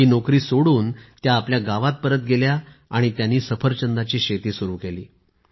ही नोकरी सोडून त्या आपल्या गावात परत गेल्या आणि सफरचंदाची शेती सुरू केली